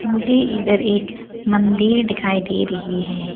मुझे इधर एक मंदिर दिखाई दे रही है।